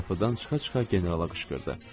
Qapıdan çıxa-çıxa generala qışqırdı.